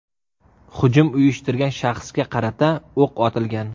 Hujum uyushtirgan shaxsga qarata o‘q otilgan.